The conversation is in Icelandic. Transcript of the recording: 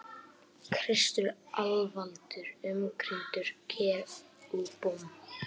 Kristur alvaldur umkringdur kerúbum.